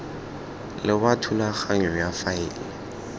le wa thulaganyo ya faele